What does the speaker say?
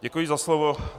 Děkuji za slovo.